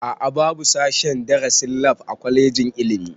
A'a babu sashen darasin lab a kwalejin ilimi